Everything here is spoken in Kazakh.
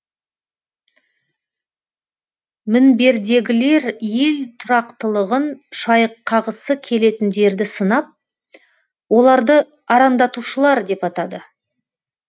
мінбердегілер ел тұрақтылығын шайқағысы келетіндерді сынап оларды арандатушылар деп атады